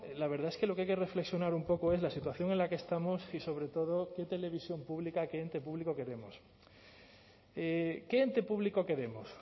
la verdad es que lo que hay que reflexionar un poco es la situación en la que estamos y sobre todo qué televisión pública qué ente público queremos qué ente público queremos